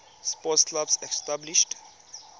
sports clubs established